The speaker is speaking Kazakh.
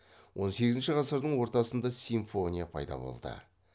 он сегізінші ғасырдың ортасында симфония пайда болды